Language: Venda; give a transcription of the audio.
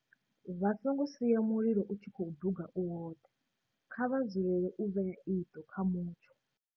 Vha songo sia mililo u tshi khou duga u woṱhe, Kha vha dzulele u vhea iṱo kha mutsho.